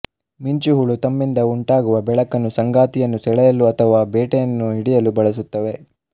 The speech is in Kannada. ಮಿಂಚುಹುಳು ತಮ್ಮಿಂದ ಉಂಟಾಗುವ ಬೆಳಕನ್ನು ಸಂಗಾತಿಯನ್ನು ಸೆಳೆಯಲು ಅಥವಾ ಬೇಟೆಯನ್ನು ಹಿಡಿಯಲು ಬಳಸುತ್ತವೆ